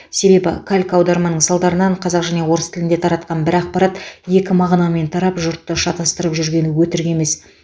себебі калька аударманың салдарынан қазақ және орыс тілінде таратқан бір ақпарат екі мағынамен тарап жұртты шатастырып жүргені өтірік емес